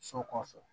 So kɔfɛ